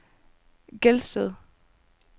Gelsted